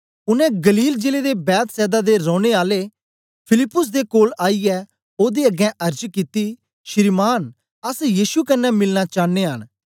उनै गलील जिले दे बेतसैदा दे रौने आले फिलिप्पुस दे कोल आईयै ओदे अगें अर्ज कित्ती श्रीमान् अस यीशु कन्ने मिलना चांन्ने आं